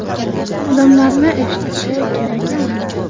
Odamlarni eshitishi kerak emas.